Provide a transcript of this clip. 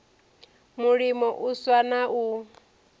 mulimo u swa na u